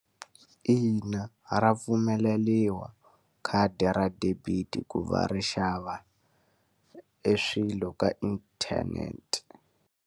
Ina, ra pfumeleriwa khadi ra debit-i ku va ri xava eswilo ka inthanete.